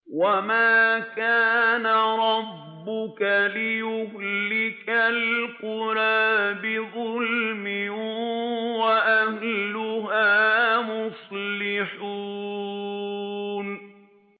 وَمَا كَانَ رَبُّكَ لِيُهْلِكَ الْقُرَىٰ بِظُلْمٍ وَأَهْلُهَا مُصْلِحُونَ